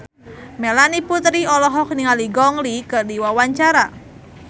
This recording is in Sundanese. Melanie Putri olohok ningali Gong Li keur diwawancara